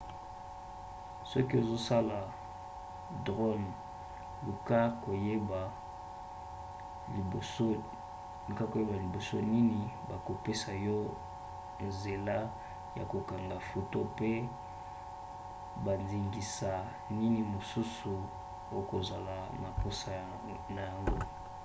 soki ozosalela drone luka koyeba liboso nini bakopesa yo nzela ya kokanga foto mpe bandingisa nini mosusu okozala na mposa na yango